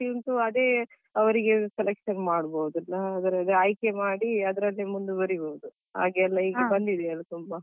ಅವ್ರಿಗೆ selection ಮಾಡಬೋದು ಅಲ್ಲ ಅದ್ರ ಆಯ್ಕೆ ಮಾಡಿ ಅದ್ರಲ್ಲೇ ಮುಂದುವರೀಬೋದು ಹಾಗೆ ಎಲ್ಲ ಈಗ ಬಂದಿದೆ ಅಲ ತುಂಬಾ.